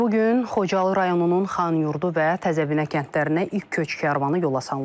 Bu gün Xocalı rayonunun Xanyurdu və Təzəbinə kəndlərinə ilk köç karvanı yola salınıb.